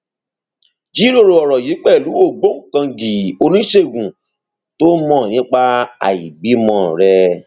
jíròrò ọrọ yìí pẹlú ògbóǹkangí oníṣègùn tó mọ nípa àìbímọ rẹ